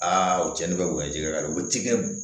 Aa u tiɲɛni bɛ kɛ ji kɛ ka u ti kɛ